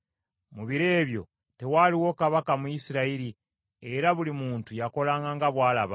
Mu biro ebyo tewaaliwo kabaka mu Isirayiri, era buli muntu yakolanga nga bw’alaba.